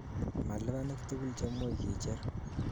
Malibanik tukul chekimuch kicher.